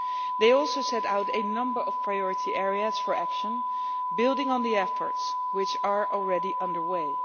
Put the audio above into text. They also set out a number of priority areas for action, building on the efforts which are already under way.